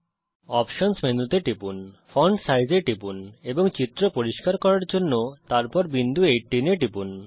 options menu তে টিপুন font size এ টিপুন এবং চিত্র পরিষ্কার করার জন্যে তারপর বিন্দু 18 এ টিপুন